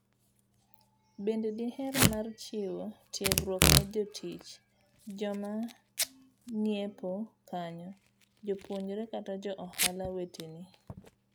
Bende diher mar chiwo tiegruok ne jotich ,joma ng'iepo kanyo,,jopuonjre kata jo ohala weteni s